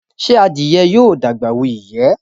Ṣe adìye yóò dàgbà wù iyẹ?